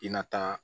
I na taa